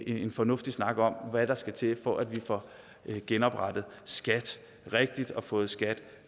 en fornuftig snak om hvad der skal til for at vi får genoprettet skat rigtigt og får skat